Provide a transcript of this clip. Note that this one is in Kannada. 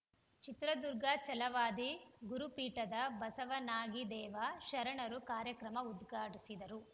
ಚಿತ್ರದುರ್ಗ ಛಲವಾದಿ ಗುರುಪೀಠದ ಬಸವನಾಗಿದೇವ ಶರಣರು ಕಾರ್ಯಕ್ರಮ ಉದ್ಘಾಟಿಸಿದರು